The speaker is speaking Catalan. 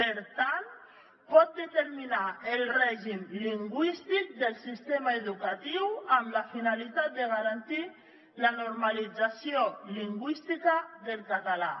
per tant pot determinar el règim lingüístic del sistema educatiu amb la finalitat de garantir la normalització lingüística del català